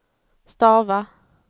stava